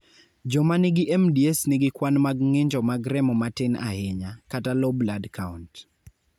Joma nigi MDS nigi kwan mag ng'injo mag remo ma tin ahinya (low blood count).